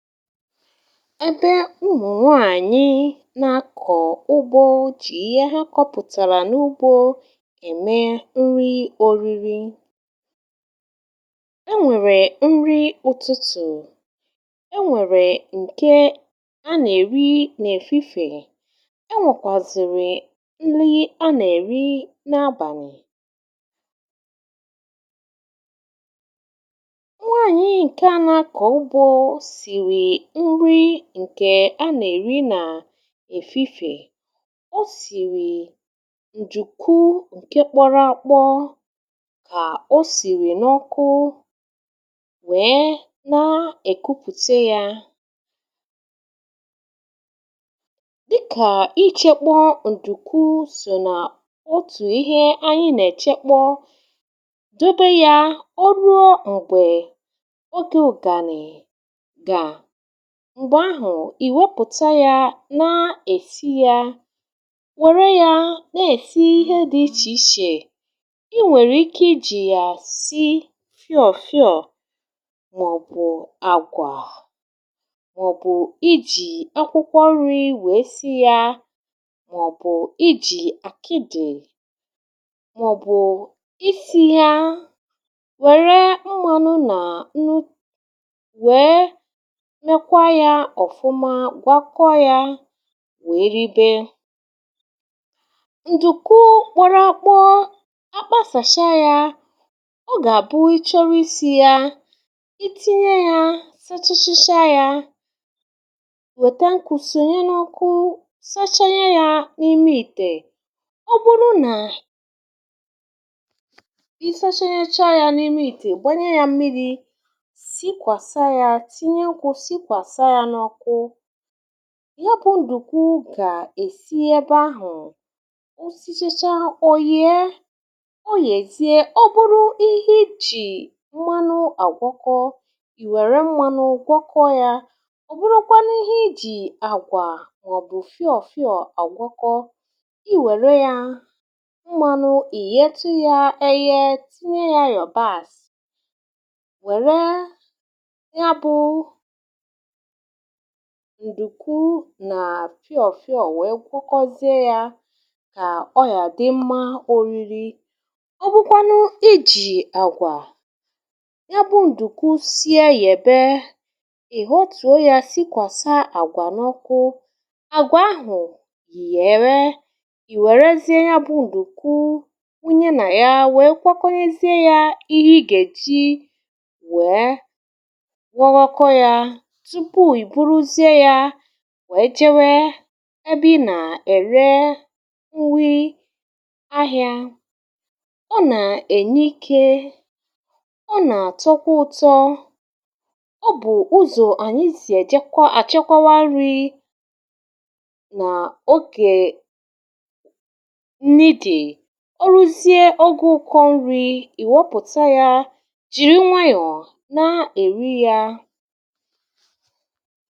ebe ụmụnwaànyị nà-akọ̀ ụgbọ jì ihe ha kọpụ̀tàrà n’ugbȯ eme nri oriri, e nwèrè nri ụtụtụ̀, e nwèrè ǹke a nà-èri nà-èfifè, e nwèkwàzùrù nri a nà-èri nà-abànì nwanyị nke na akọ ugbo siri nri ǹkè a nà-èri nà èfifè o sìrì ǹdùku ǹke kpọrọ akpọ kà o sìrì n’ọkụ wee nà-èkupùte ya dịkà ichėkpọ ǹdùku sò nà otù ihe anyị nà-èchekpọ dobe ya o ruo m̀gbè ogė ụ̀gànị̀ ga, m̀gbè ahụ̀ iwepụ̀ta ya na-èsi ya nwere ya na-èsi ihe dị̀ ichè ichè i nwèrè ike ijì ya sị fịọ̀ fịọ̀ mọ̀bụ̀ àgwà mọ̀bụ̀ ijì akwukwọ nri we si ya mọ̀bụ̀ ijì àkịdi mọ̀bụ̀ isi ya wère mmanụ na nnu nwee mekwa ya ofụma gwakọ ya wee ribe ǹdùku kpọrọ akpọ akpasàcha ya ọ gà-àbụ ịchọrọ isì ya itinye ya sachachacha ya wète nkùsònyenùọkụ sachanye ya n’ime ị̀tè ọ bụrụ nà ị sachanyecha ya na ime ite gbanye ya mmiri sikwàsa ya tinye nku sikwàsa ya n'oku ya bụ̀ ǹdùku gà-èsi ebe ahụ̀ osichèchaa ò yee o yèzie o bụrụ ihe i jì mmanụ àgwọkọ ì wère mmanụ gwọkọ ya ọ̀bụrụkwa n’ihe i jì àgwà màọ̀bụ̀ fịọ̀ fịọ̀ àgwọkọ i wère ya mmanụ ì ye tu yȧ eghe tinye ya iyọ̀bas wère ya bu ǹdùku nà fịọ̀fịọ̀ nwèe gwakọzie yȧ kà ọ yà dị mmȧ oriri, ọ bụkwanụ i jì àgwà ya bụ̇ ǹdùku sie yèbe ì họtụ̀ o yȧ sikwàsà àgwà n’ọkụ àgwà ahụ̀ yéwé ì wèrezie ya bụ̇ ǹdùku wụnye nà ya nwèe gwakọkònyezie yȧ ihe ị gà-èji wèe gwawakọ ya tupu ịbụrụzie ya wee jewe ebe ị nà-ère nwee ahị̇ȧ, ọ nà-ènye ikė, ọ nà-àtọkwa ụ̇tọ, ọ bụ̀ ụzọ̀ ànyị sì èjekwa àchọkwa nri̇ nà ogè nri dì ọrụzie ọge ụkọ̇ nri̇ ị̀ wopùta yȧ jìri nwayọ̀ na-èri ya.